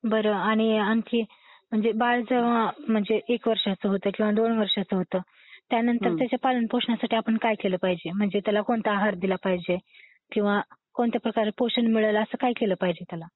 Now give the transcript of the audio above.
बरं आणि, आणखी म्हणजे बाळ जर, म्हणजे एक वर्षांच होत, किव्हा 2 वर्षांच होत, त्यानंतर त्याच्या पालन पोषणासाठी आपण काय केल पाहिजे? म्हणजे त्याला कोणता आहार दिला पाहिजे? किंवा कोणत्या प्रकारे पोषण मिळेल असं काय केल पाहिजे त्याला?